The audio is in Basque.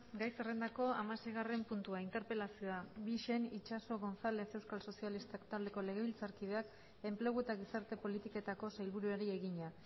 gai zerrendako hamaseigarren puntua interpelazioa bixen itxaso gonzález euskal sozialistak taldeko legebiltzarkideak enplegu eta gizarte politiketako sailburuari egina